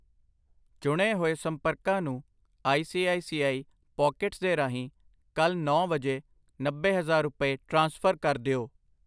ਚੁਣੇ ਹੋਏ ਸੰਪਰਕਾ ਨੂੰ I C I C I Pockets ਦੇ ਰਾਹੀਂ ਕੱਲ ਨੌਂ ਵਜੇ, ਨੱਬੇ ਹਜ਼ਾਰ ਰੁਪਏ ਟ੍ਰਾਂਸਫਰ ਕਰ ਦਿਓ I